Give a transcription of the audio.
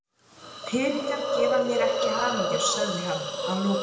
Peningar gefa mér ekki hamingju, sagði hann að lokum.